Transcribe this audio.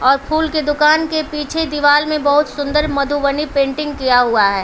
और फूल की दुकान के पीछे दीवाल में बहुत सुंदर मधुवनी पेंटिंग किया हुआ है।